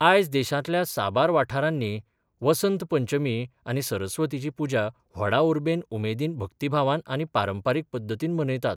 आयज देशांतल्या साबार वाठारांनी वसंत पंचमी आनी सरस्वतीची पुजा व्हडा उर्बे उमेदीन भक्तीभावान आनी पारंपारीक पद्दतीन मनयतात.